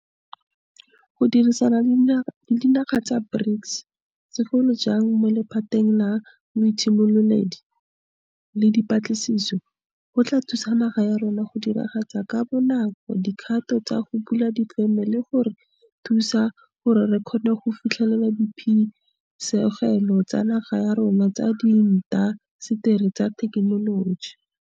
Go dirisana le dinaga tsa BRICS, segolo jang mo lephateng la boitshimololedi le dipatlisiso, go tla thusa naga ya rona go diragatsa ka bonako dikgato tsa go bula difeme le go re thusa gore re kgone go fitlhelela diphisegelo tsa naga ya rona tsa diinta seteri tsa thekenoloji.